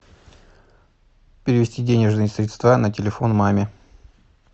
перевести денежные средства на телефон маме